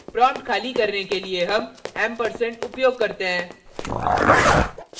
prompt खाली करने के लिए हम & ampersand उपयोग करते हैं